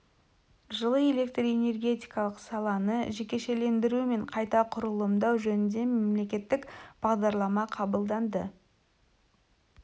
жылы электр энергетикалық саланы жекешелендіру мен қайта құрылымдау жөнінде мемлекеттік бағдарлама қабылданды